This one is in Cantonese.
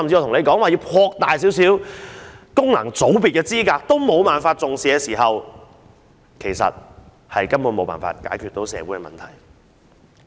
如果擴大一些功能界別的範圍也得不到政府當局的重視，根本沒有辦法解決社會的問題。